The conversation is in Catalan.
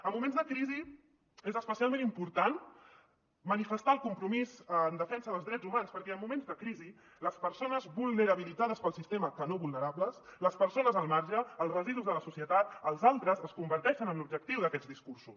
en moments de crisi és especialment important manifestar el compromís en defensa dels drets humans perquè en moments de crisi les persones vulnerabilitzades pel sistema que no vulnerables les persones al marge els residus de la societat els altres es converteixen en l’objectiu d’aquests discursos